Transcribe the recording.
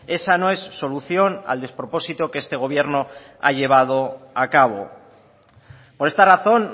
esa no es solución al despropósito que este gobierno ha llevado acabo por esta razón